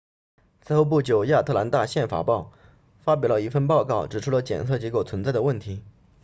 此后不久亚特兰大宪法报发表了一份报告指出了检测结果存在的问题